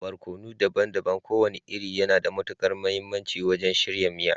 Barkono daban-daban kowane iri yana da matukar mahimmanci wajen shirya miya